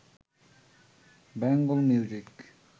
Bengal music